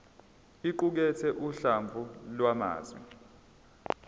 iqukathe uhlamvu lwamazwi